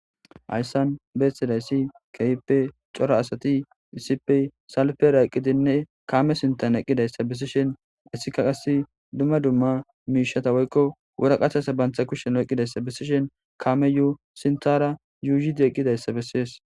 hayssan beessidayssi keyipe cora asati isipey salpera eqqidinne kaame sintan eqqidayssa bisishen issika qas dumma dumma miishata woykko wura qathesa bantha kushen eqqidayssa bisishen kaame yu sintara yuuyidi eqqidayssa bessees